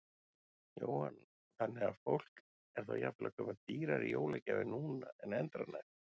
Jóhann: Þannig að fólk er þá jafnvel að kaupa dýrari jólagjafir núna en endranær?